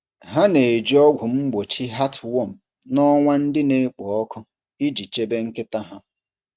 Ha na-eji ọgwụ mgbochi heartworm n’ọnwa ndị na-ekpo ọkụ iji chebe nkịta ha.